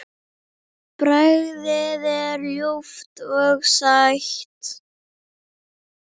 Bragðið er ljúft og sætt.